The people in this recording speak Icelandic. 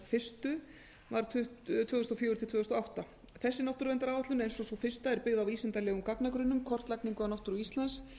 fyrstu náttúruverndaráætlunar var tvö þúsund og fjögur til tvö þúsund og átta þessi náttúruverndaráætlun eins og sú fyrsta er byggð á vísindalegum gagnagrunnum kortlagningu á náttúru íslands